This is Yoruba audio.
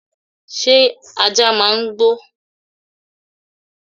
Sé ajá máa ń gbó